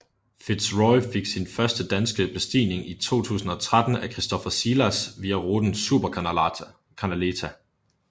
Fitz Roy fik sin første danske bestigning i 2013 af Kristoffer Szilas via ruten Supercanaleta